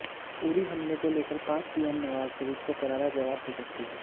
उरी हमले को लेकर पाक पीएम नवाज शरीफ को करारा जवाब दे सकती हैं